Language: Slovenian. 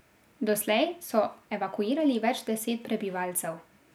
Doslej so evakuirali več deset prebivalcev.